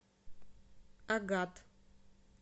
агат